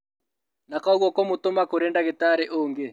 Na koguo kũmũtũma kũrĩ ndagĩtarĩ ũngĩ